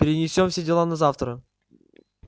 перенесём все дела на завтра